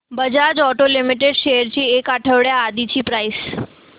Bajaj auto limited shares ची एक आठवड्या आधीची प्राइस